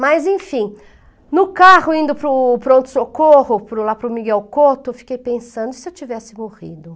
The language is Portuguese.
Mas enfim, no carro indo para o pronto-socorro, para o lá para o Miguel Cotto, eu fiquei pensando, e se eu tivesse morrido?